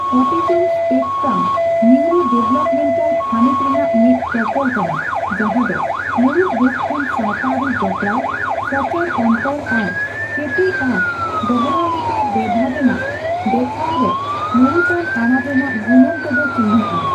Autism spectrum neurodevelopmental ᱛᱷᱟᱹᱱᱤᱛ ᱨᱮᱱᱟᱜ ᱢᱤᱫ ᱛᱚᱯᱚᱞ ᱠᱟᱱᱟ ᱡᱟᱦᱟᱸ ᱫᱚ ᱢᱩᱬᱩᱫ ᱨᱩᱯ ᱠᱷᱚᱱ ᱥᱟᱣᱛᱟᱹᱨᱤ ᱡᱚᱯᱲᱟᱣ, ᱥᱚᱸᱪᱟᱨ ᱚᱱᱛᱚᱨ ᱟᱨ ᱠᱮᱴᱮᱡᱽ ᱟᱨ ᱫᱚᱦᱚᱨᱟᱣ ᱞᱮᱠᱟ ᱵᱮᱵᱷᱟᱨ ᱨᱮᱱᱟᱜ ᱫᱮᱠᱷᱟᱶ ᱨᱮ ᱢᱩᱬᱩᱛᱟᱱ ᱟᱱᱟᱴ ᱨᱮᱱᱟᱜ ᱜᱩᱱᱟᱹᱱ ᱛᱮᱫ ᱪᱤᱱᱦᱟᱹᱜᱼᱟ ᱾